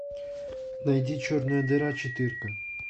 найди черная дыра четырка